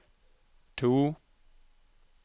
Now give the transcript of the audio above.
to